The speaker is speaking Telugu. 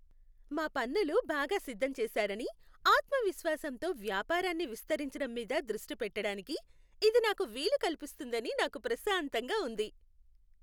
మా పన్నులు బాగా సిద్ధం చేసారని, ఆత్మవిశ్వాసంతో వ్యాపారాన్ని విస్తరించడం మీద దృష్టి పెట్టడానికి ఇది నాకు వీలు కల్పిస్తుందని నాకు ప్రశాంతంగా ఉంది.